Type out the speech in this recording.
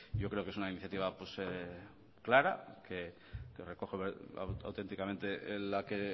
yo creo que es una iniciativa clara que recoge auténticamente la que